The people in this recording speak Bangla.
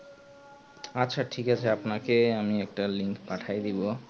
আচ্ছা ঠিক আছে আমি আপনাকে একটা link পাঠায় দেব